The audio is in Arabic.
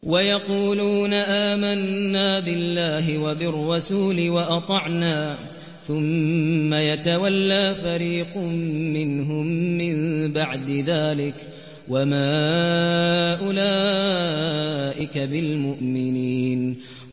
وَيَقُولُونَ آمَنَّا بِاللَّهِ وَبِالرَّسُولِ وَأَطَعْنَا ثُمَّ يَتَوَلَّىٰ فَرِيقٌ مِّنْهُم مِّن بَعْدِ ذَٰلِكَ ۚ وَمَا أُولَٰئِكَ بِالْمُؤْمِنِينَ